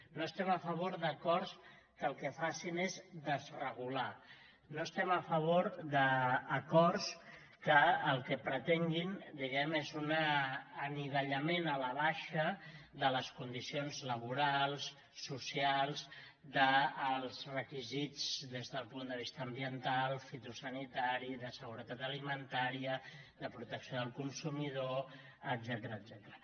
no estem a favor d’acords que el que facin és desregular no estem a favor d’acords que el que pretenguin diguem ne és un anivellament a la baixa de les condicions laborals socials dels requisits des del punt de vista ambiental fitosanitari de seguretat alimentària de protecció del consumidor etcètera